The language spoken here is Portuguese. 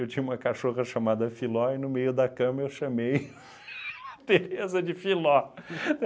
Eu tinha uma cachorra chamada Filó e no meio da cama eu chamei Tereza de Filó.